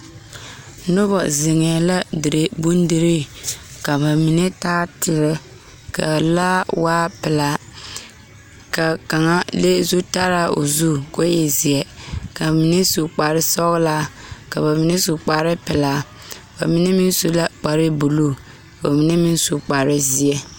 Noba zeŋɛɛ la dire bondirii ka ba mine taa teɛ k,a laa waa pelaa ka kaŋa le zutalaa o zu k,o e zeɛ ka mine su kparesɔglaa ka ba mine su kparepelaa ba mine meŋ su la kparebulu ba mine meŋ su kparezeɛ.